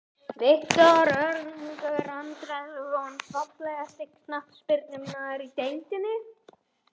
Viktor Örlygur Andrason Fallegasti knattspyrnumaðurinn í deildinni?